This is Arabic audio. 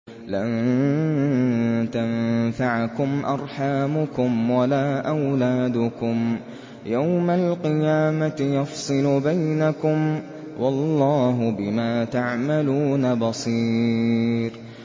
لَن تَنفَعَكُمْ أَرْحَامُكُمْ وَلَا أَوْلَادُكُمْ ۚ يَوْمَ الْقِيَامَةِ يَفْصِلُ بَيْنَكُمْ ۚ وَاللَّهُ بِمَا تَعْمَلُونَ بَصِيرٌ